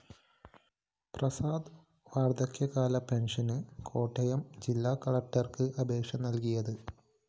പ്രസാദ് വാര്‍ദ്ധക്യകാല പെന്‍ഷന് കോട്ടയം ജില്ലാ കളക്ടര്‍ക്ക് അപേക്ഷ നല്‍കിയത്